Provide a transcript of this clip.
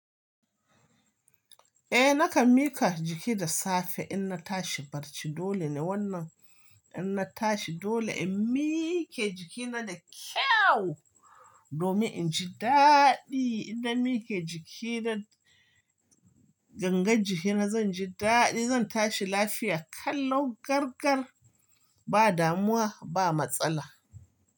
Eh nakan miƙa jiki da safe in na tashi barci dole ne wannan in na tashi dole in miƙe jikina da kyau domin in ji daɗi in na miƙe jiki da gangen jikina zan ji daɗi zan tashi lafiya kallon gargar ba damuwa ba matsala.